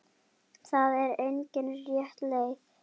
Það er engin rétt leið.